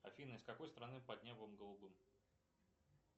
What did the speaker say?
афина из какой страны под небом голубым